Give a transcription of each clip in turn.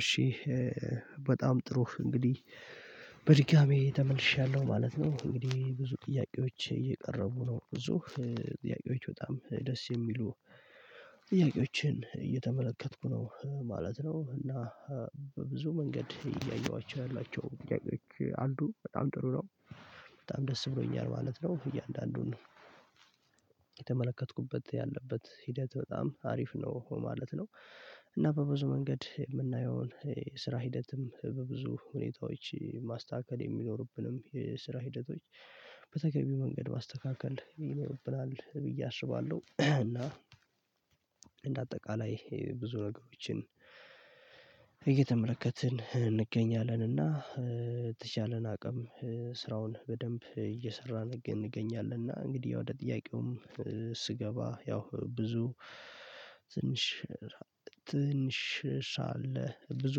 እሺ በጣም ጥሩ እንግዲህ በድጋሚ ተመልሻለሁ ማለት ነው። እንግዲህ ብዙ ጥያቄዎች እየቀረቡ ነው ብዙ ጥያቄዎች በጣም ደስ የሚሉ ጥያቄዎችን እየተመለከትኩ ነው ማለት ነው። እና በብዙ መንገድ እያየኋቸው ያላቸው ጥያቄዎች አሉ በጣም ጥሩ ነው። በጣም ደስ ብሎኛል ማለት ነው እያንዳንዱን ነው የተመለከትኩበት ያለበት ሂደት በጣም አሪፍ ነው ማለት ነው። እና በብዙ መንገድ እምናየውን የስራ ሂደትም በብዙ ሁኔታዎች ማስተካከል የሚኖርብንም የስራ ሂደቶች በተገቢ መንገድ ማስተካከል ይኖርብናል ብዬ አስባለሁ። እና እንደ አጠቃላይ ብዙ ነገሮችን እየተመለከትን እንገኛለንና የተቻለን አቅም ስራውን በደንብ እየሰራን እንገኛለን። እና እንግዲህ ወደ ጥያቄውም ያው ብዙ ትንሽ ትንሽ ሻል ብዙ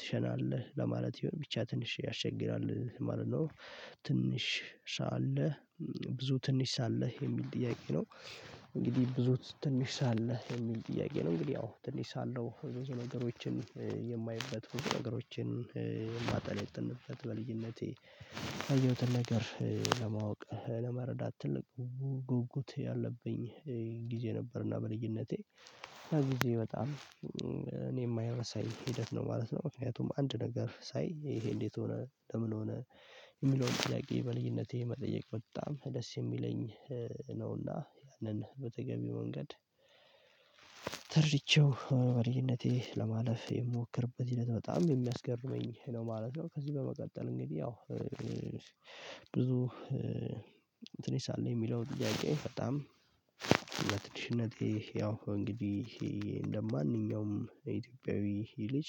ትሸናለህ ለማለት ይሆን ብቻ ትንሽ ያስቸግራል ማለት ነው። ትንሽ አለ ብዙ ትንሽ ሳለህ የሚል ጥያቄ ነው? እንግዲህ ብዙ ትንሽ ሳለህ የሚል ጥያቄ ነው እንግዲህ ያው ትንሽ ሳለው ብዙ ነገሮችን የማይበት ሩቅ ነገሮችን እማጠነጥንበት አየሁትን ነገር ለማወቅ ለመረዳት ትልቅ ጉጉት ያለብኝ ጊዜ ነበርና በልዩነቴ ጊዜ በጣም እኔ የማይረሳኝ ሂደት ነው ማለት ነው። ምክንያቱም አንድ ነገር ሳይ ይሄ እንዴት ሆነ ለምን ሆነ? የሚለውን ጥያቄ በልዩነቴ መጠየቅ በጣም ደስ የሚለኝ ነውና ያንን በተገቢ መንገድ ተርድቼው በልዩነቴ ለማለፍ የምሞክርበት ሂደት በጣም የሚያስገርመኝ ነው ማለት ነው። ከዚህ በመቀጠል እንግዲህ ያው ብዙ ትንሽ ሳለ እሚለው ጥያቄ በጣም በትንሽነቴ ያው እንግዲህ እንደማንኛውም የኢትዮጵያዊ ልጅ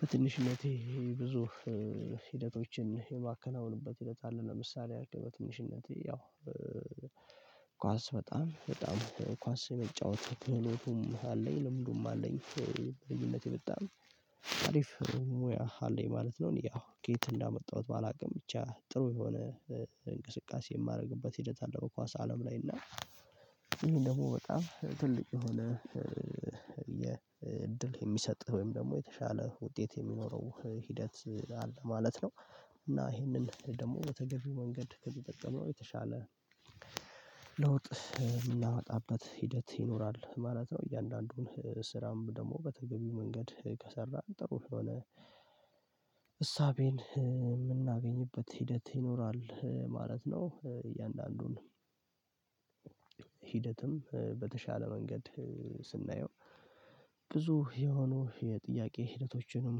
በትንሽነቴ ይሄ ብዙ ሂደቶችን የማከናውንበት ሂደት አለ። ለምሳሌ አርክ በትንሽነቴ ያው ኳስ በጣም በጣም ኳስ የመጫወት ፈላጎቱም አለኝ ለምንድነው አለኝ በልጅነቴ በጣም አሪፍ ሙያ አለኝ ማለት ነው። ያው ከየት እንዳመጣሁት በላቅም ብቻ ጥሩ የሆነ እንቅስቃሴ የማደርግበት ሂደት አለ በኳስ አለም ላይ እና ደግሞ በጣም ትልቅ የሆነ የ እድል የሚሰጥህ ወይም ደግሞ የተሻለ ውጤት የሚኖረው ሂደት አለ ማለት ነው። እና ይሄንን ደግሞ በተገኘው መንገድ ከተጠቀመው የተሻለ ለውጥ እምናመጣበት ሂደት ይኖራል ማለት ነው። እያንዳንዱን ስራም ደግሞ በተገቢው መንገድ ከሰራን ጥሩ የሆነ እሳቤን የምናገኝበት ሂደት ይኖራል ማለት ነው። እያንዳንዱን ሂደትም በተሻለ መንገድ ስናየው ብዙ የሆኑ የጥያቄ ሂደቶችንም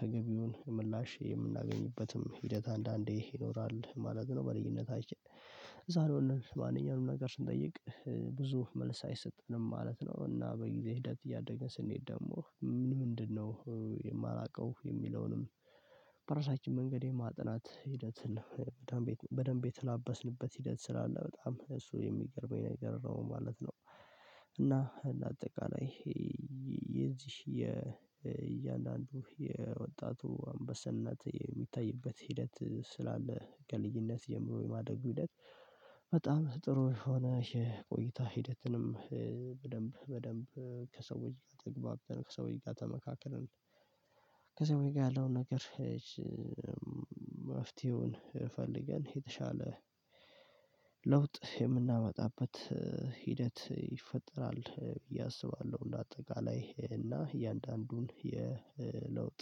ተገቢውን ምላሽ የምናገኝበትም ሂደት አንዳንዴ ይኖራል ማለት ነው። በልጅነታችን ዛሬውን ማንኛውንም ነገር ስንጠይቅ ብዙ መልስ አይሰጠንም ማለት ነው እና በጊዜ ሂደት እያደግን ስንሄድ ደግሞ ምን ምንድነው የማላውቀው የሚለውንም በራሳችን መንገድ የማጥናት ሂደትን በደንብ በደንብ የተላበስንበት ሂደት ስላለ በጣም እሱ የሚገርመኝ ነገር ነው ማለት ነው። እና በአጠቃላይ የዚህ የእያንዳንዱ የወጣቱ አንበሳነት የሚታይበት ሂደት ስላለ ከልጅነት ጀምሮ የማደጉ ሂደት በጣም ጥሩ የሆነ የቆይታ ሂደትንም በደንብ በደንብ ከሰዎች ጋር ተግባብን ከሰዎች ጋር ተመካክረን ከሰዎች ጋር ያለውን ነገር እሽ መፍትሄውን ፈልገን የተሻለ ለውጥ የምናመጣበት ሂደት ይፈጠራል ብዬ አስባለሁ። እንደ አጠቃላይ እና እያንዳንዱን የለውጥ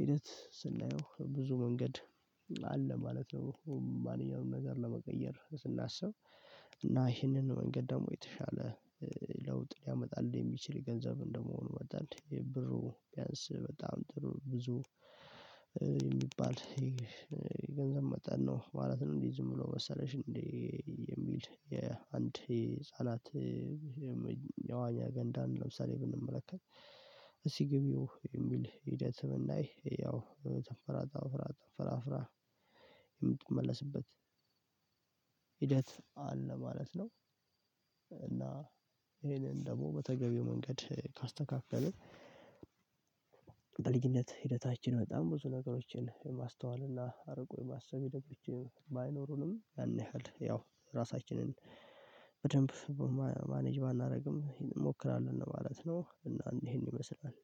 ሂደት ስናየው ብዙ መንገድ አለ ማለት ነው። ማንኛውንም ነገር ለመቀየር ስናስብ እና ይህንን መንገድ ደግሞ የተሻለ ለውጥ ሊያመጣልን የሚችል ገንዘብ እንደመሆኑ መጠን የብሩ ቢያንስ በጣም ጥሩ ብዙ የሚባል የገንዘብ መጠን ነው ማለት ነው። እንዲህ ዝም ብሎ መሰለሽ እንዴ? የሚል የአንድ ህፃናት መዋኛ ገንዳን ለምሳሌ ብንመለከት እስቲ ግቢው የሚል ሂደት ስምንት ያው ተፈራ ተፈራ ተፈራ ፈራፍራ የምትመለስበት ሂደት አለ ማለት ነው። እና ይሄንን ደግሞ በተገቢው መንገድ ካስተካከልን በልጅነት ሂደታችን በጣም ብዙ ነገሮችን የማስተዋል እና አርቆ የማሰብ ባይኖሩንም ያን ያህል ያው ራሳችንን በደንብ ማኔጅ ባናደርግም እሞክራለሁ ማለት ነው። እና ይሄን ይመስላል